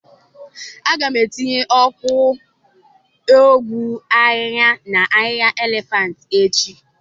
Aga m etinye ọgwụ ahịhịa na ahịhịa elefantị echi.